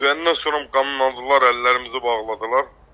Döydəndən sonra qandalladılar, əllərimizi bağladılar.